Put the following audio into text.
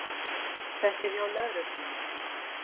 Þetta er hjá lögreglunni